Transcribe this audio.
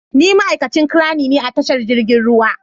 Ni ma'aikacin crane ne a tashar jirgin ruwa.